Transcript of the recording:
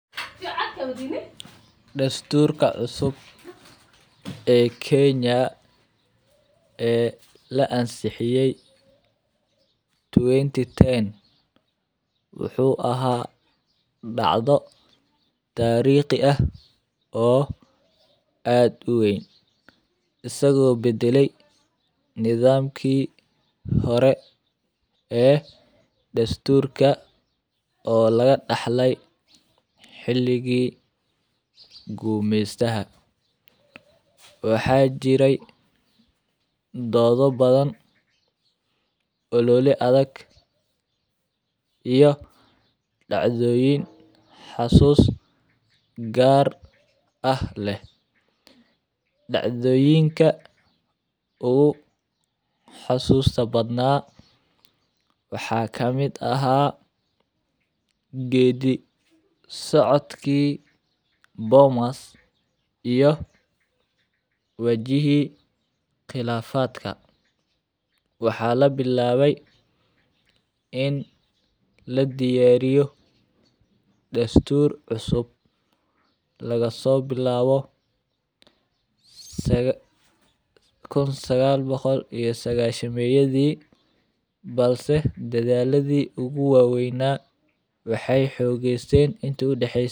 Dastuurka cusub ee Kenya ee la ansixiyay 2010 wuxuu ahaa dhacdo taariikhi ah oo aad u weyn. Isagoo bedelay nidaamkii hore ee dastuurka oo laga dhaxlay xiligi guumistaha. Waxaa jiray dood badan, ololi adag iyo dhacdooyin xasuus gaar ah leh. Dhacdooyinka uu xasuusta badnaa waxaa ka mid ah geedi socodkii, boomas iyo wajihi khilaafadka. Waxaa la bilaabmay in la diyaariyo dastuur cusub lagasoo bilaabo saga 1998 meeyadii. Balse dadaaladii ugu waaweyn waxay xooogaysay intuu dhexeysan.